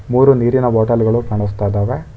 ಮೂರು ನೀರಿನ ಬಾಟಲ ಗಳು ಕಾಣಸ್ತಾಇದಾವೆ.